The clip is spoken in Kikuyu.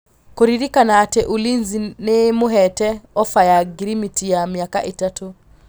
Kũrerĩkana atĩ Ulinzi nĩĩmũhete ofa ya ngirimiti ya mĩaka ĩtatũ